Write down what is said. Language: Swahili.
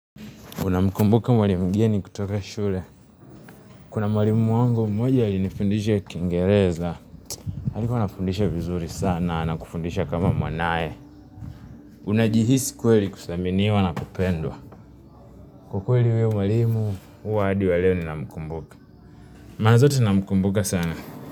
Unamkumbuka mwalimu gani kutoka shule Kuna mwalimu wangu mmoja alinifundisha kiingereza alikuwa anafundisha vizuri sana na kufundisha kama mwanae Unajihisi kweli kuthaminiwa na kupendwa Kwa kweli huyo mwalimu huwa adi wa leo ninamkumbuka Mara zote namkumbuka sana.